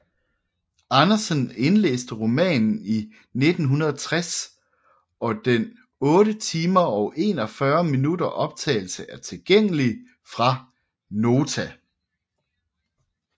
Andersen indlæste romanen i 1960 og den 8 timer og 41 minutter optagelse er tilgængelig fra Nota